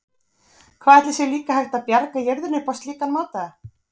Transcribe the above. Hvað ætli sé líka hægt að bjarga jörðinni upp á slíkan máta?